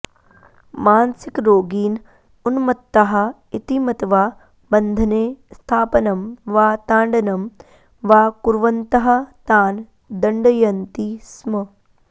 मानसिकरोगीन् उन्मत्ताः इति मत्वा बन्धने स्थापनं वा ताडनं वा कुर्वन्तः तान् दण्डयन्ति स्म